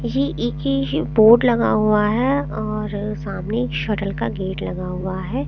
ये एक ही ये बोर्ड लगा हुआ है और सामने एक शटल का गेट लगा हुआ है।